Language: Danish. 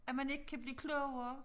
At man ikke kan blive klogere